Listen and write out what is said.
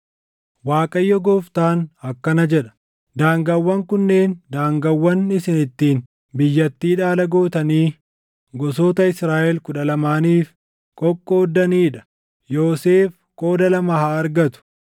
Waaqayyo Gooftaan akkana jedha: “Daangaawwan kunneen daangaawwan isin ittiin biyyattii dhaala gootanii gosoota Israaʼel kudha lamaaniif qoqqoodanii dha; Yoosef qooda lama haa argatu.